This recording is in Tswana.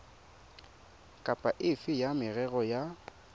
kapa efe ya merero ya